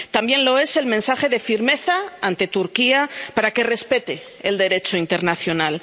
También lo es el mensaje de firmeza ante Turquía para que respete el Derecho internacional.